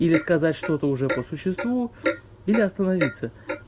или сказать что-то уже по существу или остановиться